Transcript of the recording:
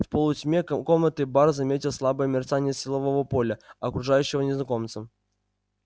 в полутьме комнаты бар заметил слабое мерцание силового поля окружавшего незнакомца